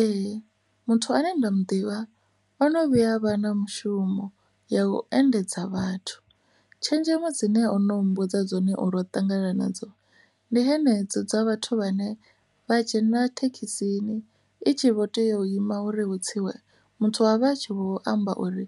Ee, muthu ane nda mu ḓivha ono vhuya vha na mushumo ya u endedza vhathu tshenzhemo dzine ono mmbudza dzone uri u ṱangana nadzo ndi hanedzo dza vhathu vhane vha dzhenela thekhisini i tshi vho tea u ima uri hu tsiwe muthu avha a tshi vho amba uri